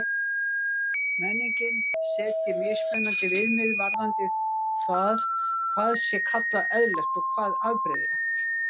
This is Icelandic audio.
Menningin setji mismunandi viðmið varðandi það hvað sé kallað eðlilegt og hvað afbrigðilegt.